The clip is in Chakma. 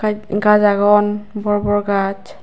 gaaj aagon bor bor gaaj.